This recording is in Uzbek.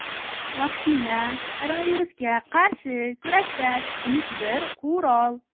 vaksina — koronavirusga qarshi kurashda kichik bir qurol.